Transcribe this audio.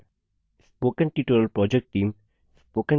spoken tutorial project team